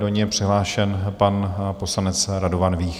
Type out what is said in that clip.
Do ní je přihlášen pan poslanec Radovan Vích.